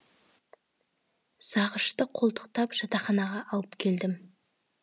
зағышты қолтықтап жатақханаға алып келдім